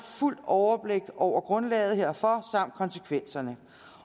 fuldt overblik over grundlaget herfor samt konsekvenserne